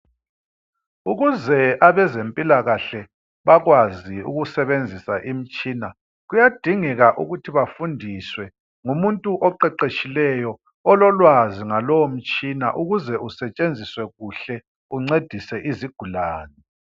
Ukuze abezempilakahle bakwazi ukusebenzisa imitshina kuyadingeka ukuthi bafundiswe ngumuntu oqeqetshileyo ololwazi ngalomtshina ukuze usetshenziswe kuhle uncedise izigulane